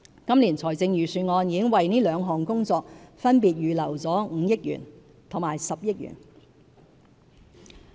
今年財政預算案已為這兩項工作分別預留了5億元和10億元。